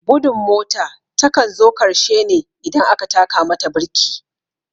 Gudun mota takan zo karshe ne idan aka taka mata birki